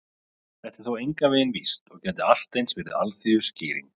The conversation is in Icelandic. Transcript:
Þetta er þó engan veginn víst, og gæti allt eins verið alþýðuskýring.